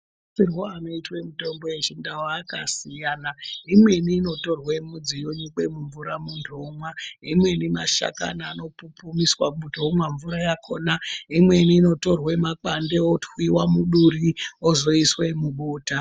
Shandisirwo inoitwe mitombo yechindau akasiyana imweni, inotorwe mudzi yonyikwe mumvura muntu onwa, imweni mashakani anopupumiswa muntu onwa mvura yakona, imweni inotorwe makwande otwiyiwa muduri ozoiswe mubota.